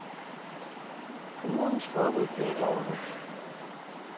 Kommunens forbud blev ikke overholdt.